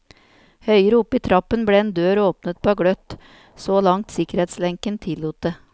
Høyere opp i trappen ble en dør åpnet på gløtt, så langt sikkerhetslenken tillot det.